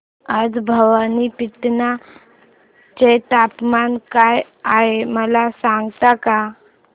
आज भवानीपटना चे तापमान काय आहे मला सांगता का